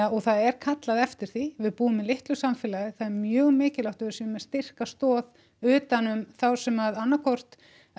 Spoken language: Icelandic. og það er kallað eftir því við búum í litlu samfélagi það er mjög mikilvægt að við séum með styrka stoð utan um þá sem að annað hvort